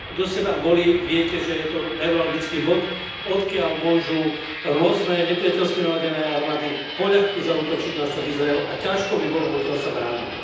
Kto ste tam boli, viete, že je to neuralgický bod, odkiaľ môžu rôzne nepriateľsky naladené armády poľahky zaútočiť na štát Izrael, a ťažko by bolo odtiaľ sa brániť.